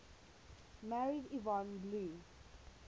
married yvonne blue